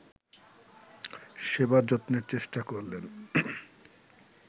সেবাযত্নের চেষ্টা করলেন